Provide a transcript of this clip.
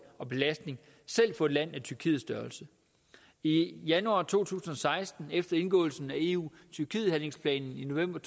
og belastning selv for et land af tyrkiets størrelse i januar to tusind og seksten vedtog efter indgåelsen af eu tyrkiet handlingsplanen i november